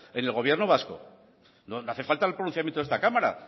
en el gobierno vasco no hace falta el pronunciamiento de esta cámara